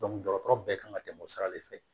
dɔgɔtɔrɔ bɛɛ kan ka tɛmɛ o sira de fɛ